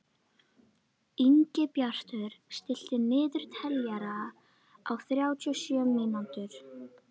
Ingibjartur, stilltu niðurteljara á þrjátíu og sjö mínútur.